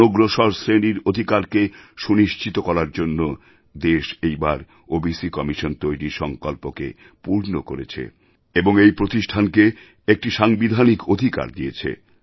অনগ্রসর শ্রেণীর অধিকারকে সুনিশ্চিত করার জন্য দেশ এই বার ওবিসি কমিশন তৈরির সংকল্পকে পূর্ণকরেছেএবং এই প্রতিষ্ঠানকে একটি সাংবিধানিক অধিকার দিয়েছে